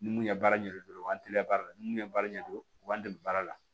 Ni mun ye baara ɲɛ dɔn o b'an teliya baara la ni mun ye baara ɲɛdɔn u b'an dɛmɛ baara la